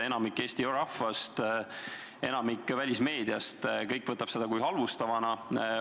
Enamik Eesti rahvast, enamik välismeediast võtab seda halvustavana.